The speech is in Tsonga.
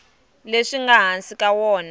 leswi nga hansi ka wona